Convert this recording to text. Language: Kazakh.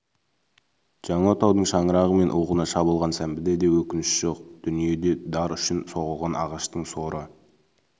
жаңа отаудың шаңырағы мен уығына шабылған сәмбіде де өкініш жоқ дүниеде дар үшін соғылған ағаштың соры